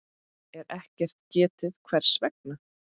er ekkert getið hvers vegna.